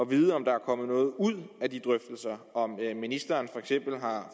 vide om der er kommet noget ud af de drøftelser om ministeren for eksempel har